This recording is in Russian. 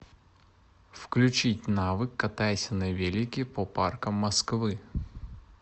включить навык катайся на велике по паркам москвы